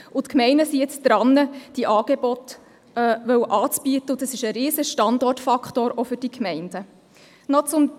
Die Gemeinden sind jetzt daran, diese Angebote anbieten zu wollen, und dies ist für die Gemeinden auch ein riesiger Standortfaktor.